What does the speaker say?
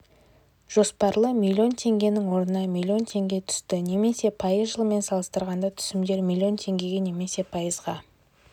жоспарлы миллион теңгенің орнына миллион теңге түсті немесе пайыз жылмен салыстырғанда түсімдер миллион теңгеге немесе пайызға